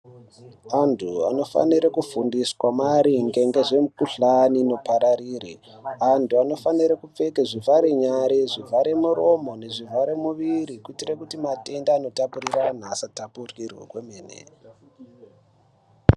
Antu anofanire kufundiswa maringe ngezvemu kuhlani ino pararire antu anofanire kupkeka zvivhare nyare zvivhare muromo nezvivhare muviri kuitira kuti matenda ano tapukira anhu asa tapukirwa kwemene.